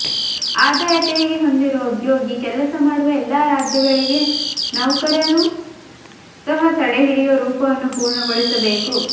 ಆದಾಯ ತೆರಿಗೆ ಹೊಂದಿರುವ ಉದ್ಯೋಗಿ ಕೆಲಸ ಮಾಡುವ ಎಲ್ಲಾ ರಾಜ್ಯಗಳಿಗೆ ನೌಕರನು ಸಹ ತಡೆಹಿಡಿಯುವ ರೂಪವನ್ನು ಪೂರ್ಣಗೊಳಿಸಬೇಕು